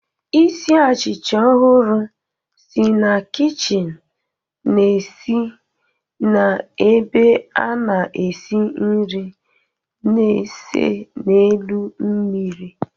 Isi achịcha ọhụrụ si na kichin na-esi n'ebe a na-esi nri na-ese n'elu mmiri.